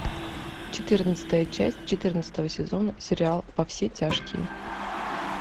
четырнадцатая часть четырнадцатого сезона сериал во все тяжкие